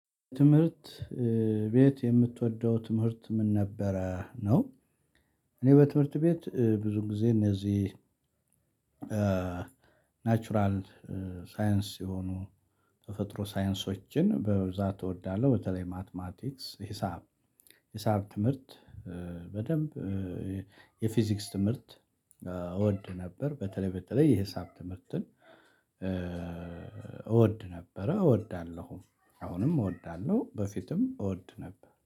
ትምህርት ቤት የምትወደው ትምህርት ምን ነበረ ነው? እኔ በትምህርት ቤት ብዙ ጊዜ እነዚህ ናቹራል ሳይንስ የሆኑ ተፈጥሮ ሳይንሶችን በብዛት እወዳለሁ። በተለይ ማትማቲክስ ሂሳብ ሂሳብ ትምህርት በደንብ የፊዚክስ ትምህርት እወድ ነበር። በተለይ በተለይ የሂሳብ ትምህርትን እወድ ነበረ እወዳለሁ አሁንም እወዳለሁ። በፊትም እወድ ነበር